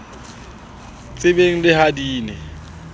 tsebeng le ha di ne